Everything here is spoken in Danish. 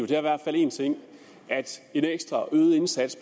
i hvert fald én ting at en ekstra øget indsats